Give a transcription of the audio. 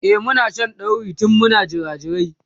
e Muna Shan dauri tun Muna jirajirai